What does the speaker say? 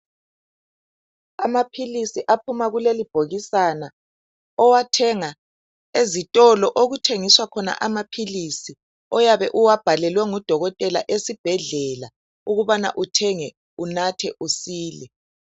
Amaphilisi aphuma keleli bhokisana owathenga ezitolo okuthengiswa khona amaphilisi oyabe uwabhalelwe ngudokotela esibhedlela ukubana uthenge unathe usile.